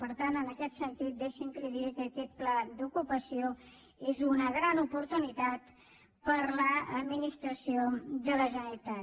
per tant en aquest sentit deixi’m que li digui que aquest pla d’ocupació és una gran oportunitat per a l’administració de la generalitat